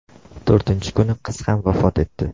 To‘rtinchi kuni qiz ham vafot etdi.